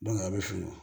a bɛ fili